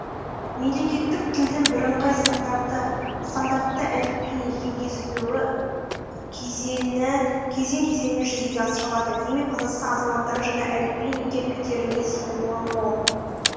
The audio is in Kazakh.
мемлекеттік тілдің бірыңғай стандартты әліпбиінің енгізілуі кезең кезеңімен жүзеге асырылады демек қазақстан азаматтарының жаңа әліпбиін игеріп кетеріне сенім мол